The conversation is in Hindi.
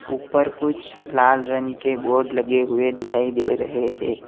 ऊपर कुछ लाल रंग के बोर्ड लगे हुए दिखाई दे रहे हैं।